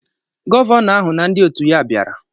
Gọvanọ ahụ na ndị otu ya bịara